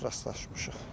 Çox rastlaşmışıq.